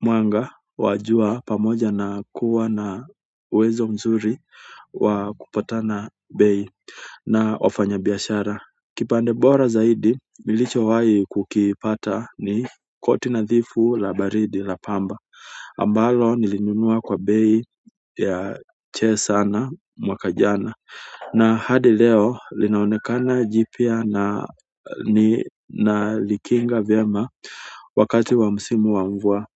mwanga. Wajua pamoja na kuwa na uwezo mzuri wa kupatana bei na wafanyabiashara kipande bora zaidi nilichowahi kukipata ni koti nadhifu la baridi la pamba. Ambalo nilinunua kwa bei ya chini sana mwaka jana. Na hadi leo linaonekana jipya nalikinga vyema wakati wa msimu wa mvua.